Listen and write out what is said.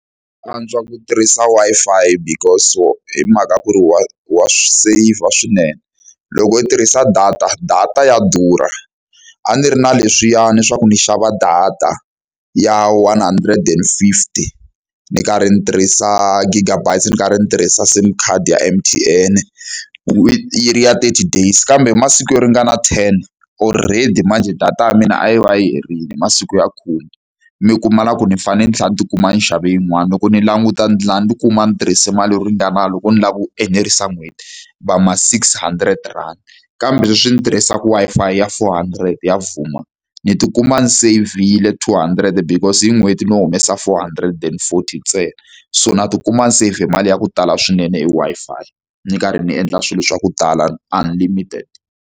Ku antswa ku tirhisa Wi-Fi because-o hi mhaka ku ri wa wa swi seyivha swinene. Loko u tirhisa data, data ya durha. A ndzi ri na leswiyani swa ku ndzi xava data ya one hundred and fifty ni karhi ndzi tirhisa gigabytes, ndzi karhi ndzi tirhisa SIM card ya M_T_N-e yi ri ya thirty days. Kambe hi masiku yo ringana ten already manjhe data ya mina a yi va yi herile hi masiku ya khume. Mi kuma na ku ni fanele ni tlhela ni ti kuma ni xave yin'wana, loko ni languta dlhina ni ti kuma ni tirhise mali yo ringana loko ni lava ku enerisa n'hweti va ma six hundred rand. Kambe sweswi ni tirhisaka Wi-Fi ya four hundred ya Vuma, ni ti kuma ni seyivhile two hundred because hi n'hweti ni humesa four hundred and forty ntsena. So ni tikuma ni seyivhe mali ya ku tala swinene hi Wi-Fi ni karhi ni endla swilo swa ku tala unlimited.